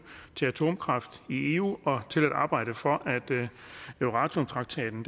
til atomkraft i eu og til at arbejde for at euratom traktaten